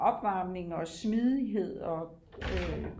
opvarmning og smidighed og